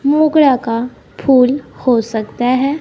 मोगरा का फूल हो सकता है।